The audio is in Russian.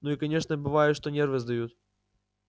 ну и конечно бывает что нервы сдают